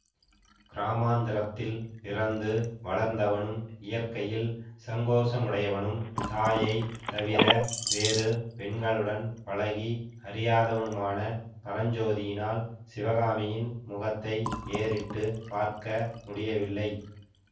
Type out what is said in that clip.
கிராமாந்திரத்தில் பிறந்து வளர்ந்தவனும் இயற்கையில் சங்கோசமுடையவனும் தாயைத் தவிர வேறு பெண்களுடன் பழகி அறியாதவனுமான பரஞ்சோதியினால் சிவகாமியின் முகத்தை ஏறிட்டு பார்க்க முடியவில்லை